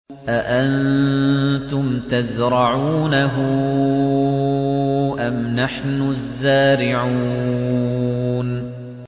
أَأَنتُمْ تَزْرَعُونَهُ أَمْ نَحْنُ الزَّارِعُونَ